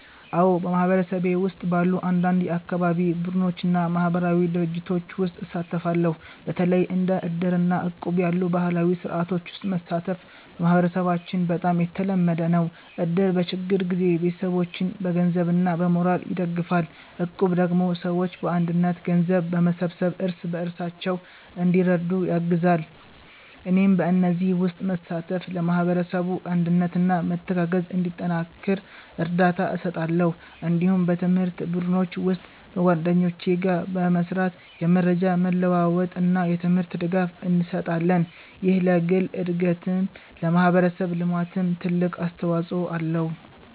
አዎ፣ በማህበረሰቤ ውስጥ ባሉ አንዳንድ የአካባቢ ቡድኖች እና ማህበራዊ ድርጅቶች ውስጥ እሳተፋለሁ። በተለይ እንደ እድር እና እቁብ ያሉ ባህላዊ ስርዓቶች ውስጥ መሳተፍ በማህበረሰባችን በጣም የተለመደ ነው። እድር በችግር ጊዜ ቤተሰቦችን በገንዘብ እና በሞራል ይደግፋል፣ እቁብ ደግሞ ሰዎች በአንድነት ገንዘብ በመሰብሰብ እርስ በርሳቸው እንዲረዱ ያግዛል። እኔም በእነዚህ ውስጥ በመሳተፍ ለማህበረሰቡ አንድነት እና መተጋገዝ እንዲጠናከር እርዳታ እሰጣለሁ። እንዲሁም በትምህርት ቡድኖች ውስጥ በጓደኞቼ ጋር በመስራት የመረጃ መለዋወጥ እና የትምህርት ድጋፍ እንሰጣለን። ይህ ለግል እድገትም ለማህበረሰብ ልማትም ትልቅ አስተዋጽኦ አለው።